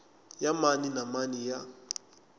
ya mani na mani ya